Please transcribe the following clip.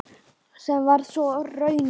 Sem varð svo raunin.